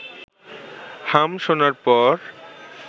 হাম শোনার পর